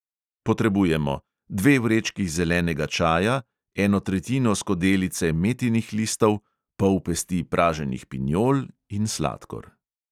Potrebujemo: dve vrečki zelenega čaja, eno tretjino skodelice metinih listov, pol pesti praženih pinjol in sladkor.